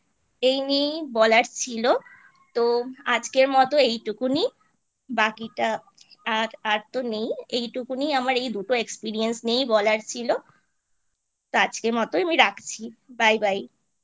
এই নিয়েই বলার ছিল তো আজকের মতো এইটুকুনিই বাকিটা আ আর তো নেই এইটুকুনিই আমার এই দুটো Experience নিয়ে বলার ছিল তো আজকের মতো আমি রাখছি Bye Bye